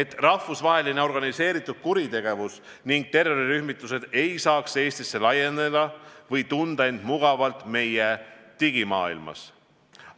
et rahvusvaheline organiseeritud kuritegevus ning terrorirühmitused ei saaks Eestisse laieneda ega tunda end mugavalt meie digimaailmas.